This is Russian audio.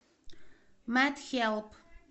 медхэлп